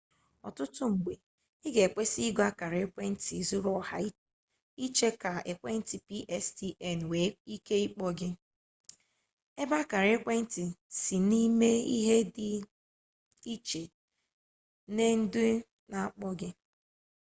ọtụtụ mgbe ị ga ekwesị igo akara ekwentị zuru oha iche ka ekwentị pstn nwee ike ịkpọ gị ebe akara ekwentị sị na-eme ihe dị iche nue ndị na-akpọ gị